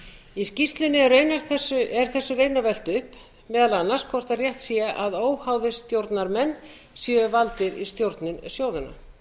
í skýrslunni er þessu raunar velt upp meðal annars hvort rétt sé að óháðir stjórnarmenn séu valdir í stjórnir sjóðanna